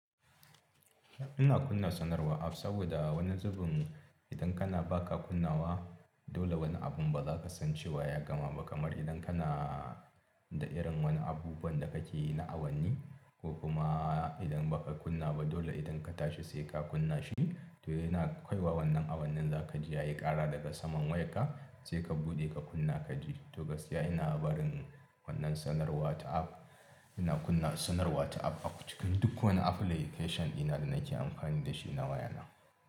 Ina kunna sanarwa app saboda wani zubin idan kana baka kunnawa dole wani abun bazakasan cewa ya zaka ma idan kana da irin wani abubuwan da kake yi na awanni ko kuma idan ba ka kunna ba dole idan ka tashi sai ka kunna shi to yana kai wa wannan awannin za ka je ya yi kara daga saman wayarka sai ka buɗe ka kunna ka ji. To gaskiya ina barin wannan sanarwa ta app. Ina kunna sanarwa ta app a cikin duk wani application dina da nake amfani da shi na wayana.